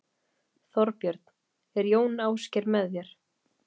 Þorbjörn: Er Jón Ásgeir með þér?